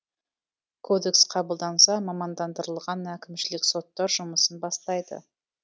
кодекс қабылданса мамандандырылған әкімшілік соттар жұмысын бастайды